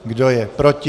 Kdo je proti?